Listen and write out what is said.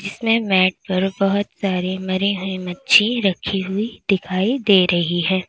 इसमें मैट पर बहुत सारी मरी हुई मच्छी रखी हुई दिखाई दे रही है।